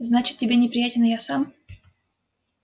значит тебе неприятен и я сам